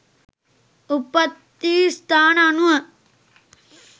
උප්පත්ති ස්ථාන අනුව